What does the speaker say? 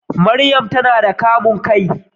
Mariam tana da kamun kai sosai.